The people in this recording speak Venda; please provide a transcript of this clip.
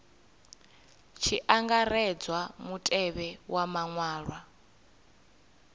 tshi angaredzwa mutevhe wa maṅwalwa